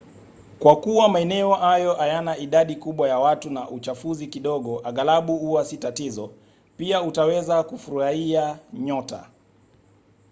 kwa kuwa maeneo hayo hayana idadi kubwa ya watu na uchafuzi kidogo aghalabu huwa si tatizo pia utaweza kufuruhia nyota